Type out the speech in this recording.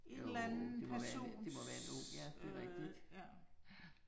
En eller anden persons øh ja